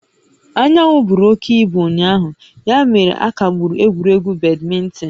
Anyanwụ buru oke ibu ụnyaahụ ya mere a kagburu egwuregwu badminton